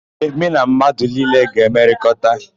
Ee, mụ na mmadụ niile ga-emekọrịta.